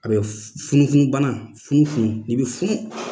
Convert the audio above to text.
A be funu funu bana, funufunu . I be funu .